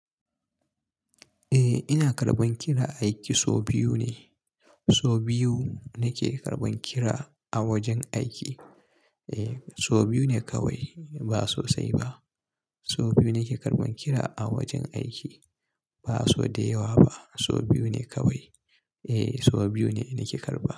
Eh ina karɓan kira aiki sau biyu ne. Sau biyu nake karɓan kira a wajen aiki. Eh sau biyu ne kawai ba sosai ba. Sau biyu nake karɓan kira a wajen aiki ba sau da yawa ba. Sau biyu ne kawai. Eh sau biyu ne nake karɓa.